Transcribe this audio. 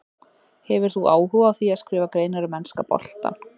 Hefur þú áhuga á því að skrifa greinar um enska boltann?